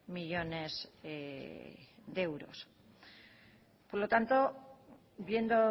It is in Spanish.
millónes de euros por lo tanto viendo